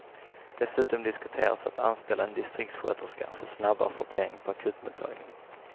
Dessutom diskuteras att anställa en distriktsköterska för snabbare sortering på akutmottagningen.